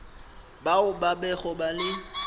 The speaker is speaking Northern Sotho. bao ba bego ba le